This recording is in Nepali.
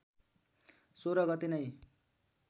१६ गते नै